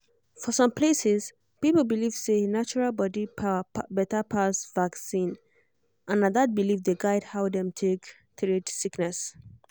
for some places people believe say natural body power better pass vaccine and na that belief dey guide how dem take treat sickness.